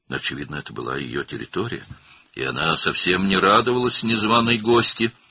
Görünür, bu onun ərazisi idi və o, çağırılmamış qonağa heç sevinmirdi.